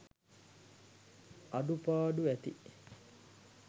අඩුපාඩු ඇති.